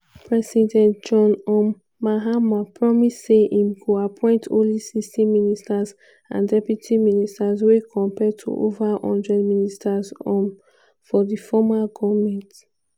president john um mahama promise say im go appoint only 60 ministers and deputy ministers wey compare to ova one hundred ministers um for di former goment.